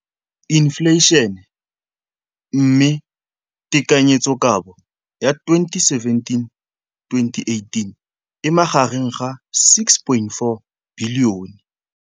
Infleišene, mme tekanyetsokabo ya 2017, 18, e magareng ga R6.4 bilione.